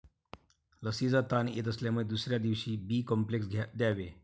लसीचा ताण येत असल्यामुळे दुसऱ्या दिवशी बी कॉम्प्लेक्स द्यावे.